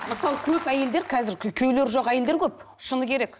мысалы көп әйелдер қазір күйеулері жоқ әйелдер көп шыны керек